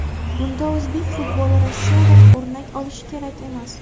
Bunda o‘zbek futboli Rossiyadan o‘rnak olishi kerak emas.